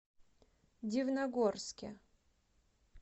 дивногорске